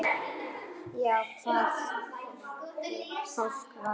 Já, hvað fólk varðar.